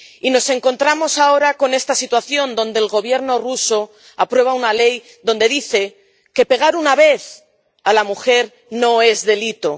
Y nos encontramos ahora con esta situación, donde el Gobierno ruso aprueba una ley que dice que pegar una vez a la mujer no es delito